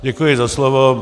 Děkuji za slovo.